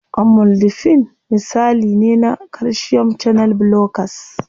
Amlodipine misali ne na calcium channel blockers.